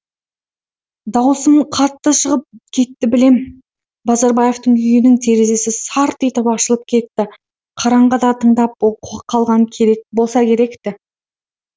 дауысым қатты шығып кетті білем базарбаевтың үйінің терезесі сарт етіп ашылып кетті қараңғыда тыңдап қалған болса керек ті